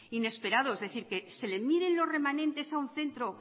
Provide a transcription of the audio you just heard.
inesperado es decir que se le miren los remanentes a un centro